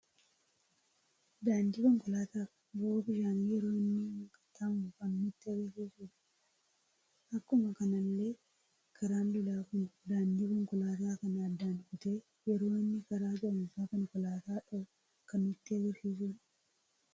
Daandii konkoolaata fi bo'oo bishaanii yeroo inni wal qaxxaamuru kan nutti agarsiisuudha. Akkuma kanallee karaan lolaa kun daandii konkoolaata kana addan kutee yeroo inni karaa ce'umsa konkoolaata dho'uu kan nutti agarsiisudha.